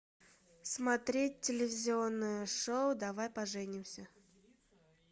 смотреть телевизионное шоу давай поженимся